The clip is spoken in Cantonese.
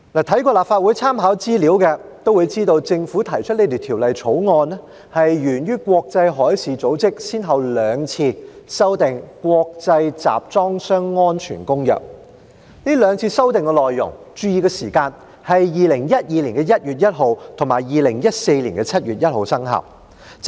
看過立法會參考資料摘要的議員都會知道，政府提出《條例草案》，是源於國際海事組織先後兩次修訂《國際集裝箱安全公約》，大家要注意，這兩次修訂內容的生效時間，分別是2012年1月1日及2014年7月1日。